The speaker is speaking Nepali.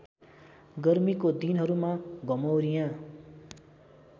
गर्मीको दिनहरूमा घमौरियाँ